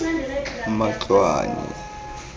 matloane